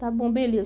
Está bom, beleza.